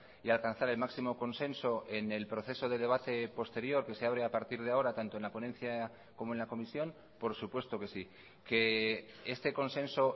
y alcanzar el máximo consenso en el proceso de debate posterior que se abre a partir de ahora tanto en la ponencia como en la comisión por supuesto que sí que este consenso